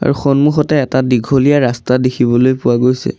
সন্মুখতে এটা দিঘলীয়া ৰাস্তা দেখিবলৈ পোৱা গৈছে।